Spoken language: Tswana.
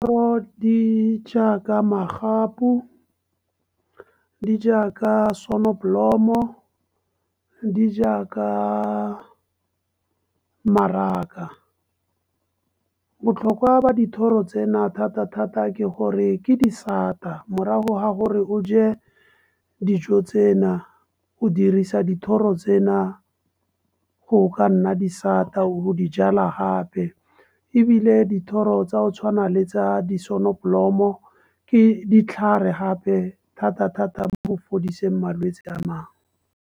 Di jaaka magapu, le jaaka sonneblomme, di jaaka mmaraka. Botlhokwa ba dithoro tsena, thata-thata ke gore ke disata. Morago ga gore o je dijo tsena, o dirisa dithoro tsena go ka nna disata o be o dijala gape. Ebile dithoro tsa o tshwana le tsa di sonnoblomme ke ditlhare gape thata-thata mo go fodiseng malwetse a mangwe.